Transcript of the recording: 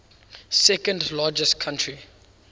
second largest country